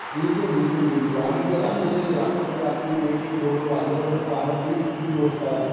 बिलकुल बिलकुल बिलकुल आणि ते रात्री रात्रीच्या रात्री एक एक दोन दोन वाजेपर्यंत पाहणं तेही चुकीची गोष्ट आहे.